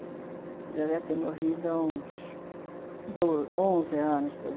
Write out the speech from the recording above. Ele já deve ter morrido há uns doze, onze anos, doze anos